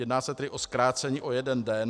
Jedná se tedy o zkrácení o jeden den.